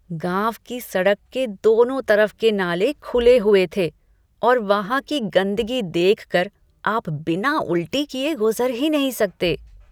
गाँव की सड़क के दोनों तरफ के नाले खुले हुए थे और वहाँ की गंदगी देख कर आप बिना उलटी किए गुज़र ही नहीं सकते।